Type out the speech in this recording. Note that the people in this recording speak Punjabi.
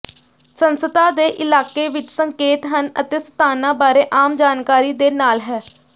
ਸੰਸਥਾ ਦੇ ਇਲਾਕੇ ਵਿਚ ਸੰਕੇਤ ਹਨ ਅਤੇ ਸਥਾਨਾਂ ਬਾਰੇ ਆਮ ਜਾਣਕਾਰੀ ਦੇ ਨਾਲ ਹੈ